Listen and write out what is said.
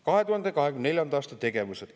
2024. aasta tegevused.